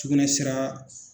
Sugunɛ sira